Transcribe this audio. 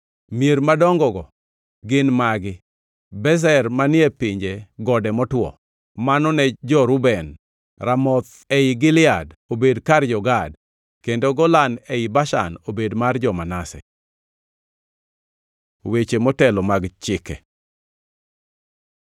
Mier madongo-go gin magi: Bezer manie pinje gode motwo, mano ne jo-Reuben; Ramoth ei Gilead, obed kar jo-Gad; kendo Golan ei Bashan obed mar jo-Manase. Weche motelo mag chike